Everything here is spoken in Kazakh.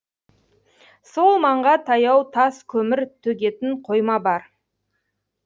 сол маңға таяу тас көмір төгетін қойма бар